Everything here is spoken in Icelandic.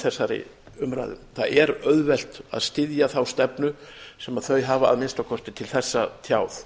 þessari umræðu það er auðvelt að styðja þá stefnu sem þau hafa að minnsta kosti til þessa tjáð